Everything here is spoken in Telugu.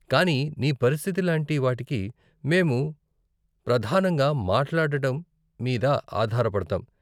కానీ నీ పరిస్థితి లాంటి వాటికి మేము ప్రధానంగా మాట్లాడటం మీద ఆధార పడతాం.